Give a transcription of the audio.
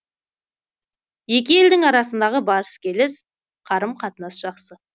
екі елдің арасындағы барыс келіс қарым қатынас жақсы